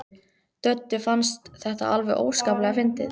Döddu fannst þetta alveg óskaplega fyndið.